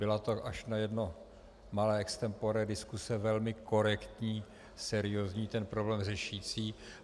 Byla to až na jedno malé extempore diskuse velmi korektní, seriózní, ten problém řešící.